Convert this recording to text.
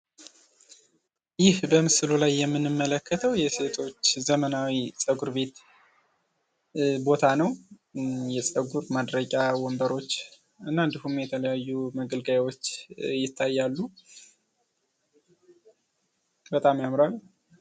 ይህ በምስሉ ላይ የምንመለከተው የሴቶች ዘመናዊ ፀጉር ቤት ቦታ ነው ።የጸጉር ማድረቂያ ወንበሮች እና እንዲሁም የተለያዩ መገልገያዎች ይታያሉ። በጣም ያምራል።